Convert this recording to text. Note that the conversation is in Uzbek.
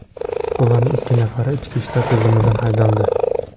Ularning ikki nafari ichki ishlar tizimidan haydaldi.